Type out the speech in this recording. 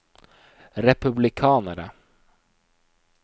republikanere